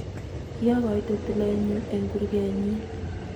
kiokoite tileenyu ang kurkee nyin